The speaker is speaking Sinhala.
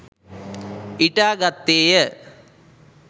ඉටා ගත්තේය.